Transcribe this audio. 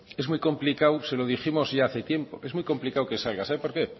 es muy complicado se lo dijimos ya hace tiempo es muy complicado que salga sabe por qué